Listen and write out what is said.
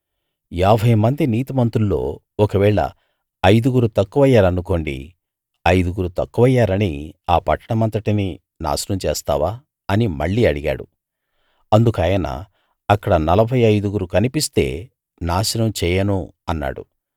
యాభై మంది నీతిమంతుల్లో ఒకవేళ ఐదుగురు తక్కువయ్యారనుకోండి ఐదుగురు తక్కువయ్యారని ఆ పట్టణమంతటినీ నాశనం చేస్తావా అని మళ్ళీ అడిగాడు అందుకాయన అక్కడ నలభై ఐదుగురు కనిపిస్తే నాశనం చేయను అన్నాడు